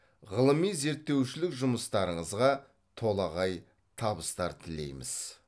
ғылыми зерттеушілік жұмыстарыңызға толағай табыстар тілейміз